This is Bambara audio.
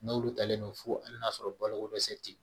N'olu talen don fo hali n'a sɔrɔ baloko dɛsɛ tɛ